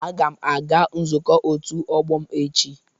Aga m aga nzukọ òtù ọgbọ m echi.